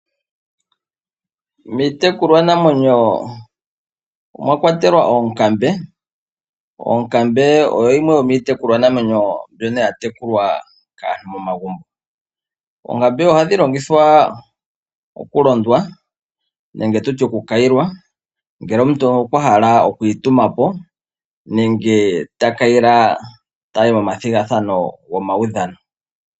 Miitekulwa namwenyo omwa kwatelwa oonkambe, onkambe oyo yimwe yomiitekulwa namwenyo mbyono ya tekulwa kaantu momagumbo. Oonkambe oha dhilongithwa oku londwa nenge tu tye oku kayilwa ngele omuntu okwahala oku itumapo, nenge ta kayile ta yi mo ma thigathano go maudhano.